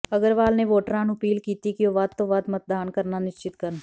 ਅਗਰਵਾਲ ਨੇ ਵੋਟਰਾਂ ਨੂੰ ਅਪੀਲ ਕੀਤੀ ਕਿ ਉਹ ਵੱਧ ਤੋਂ ਵੱਧ ਮਤਦਾਨ ਕਰਨਾ ਨਿਸ਼ਚਿਤ ਕਰਨ